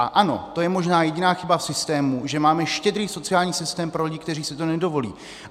A ano, to je možná jediná chyba v systému, že máme štědrý sociální systém pro lidi, kteří si to nedovolí (?).